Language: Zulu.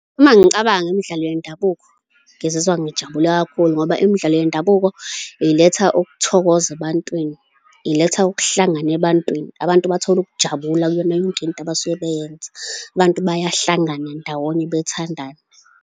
Uma ngicabanga imidlalo yendabuko ngizizwa ngijabule kakhulu ngoba imidlalo yendabuko iletha ukuthokoza ebantwini, iletha ukuhlangana ebantwini, abantu bathola ukujabula kuyona yonke into abasuke beyenza, abantu bayahlangana ndawonye bethandane.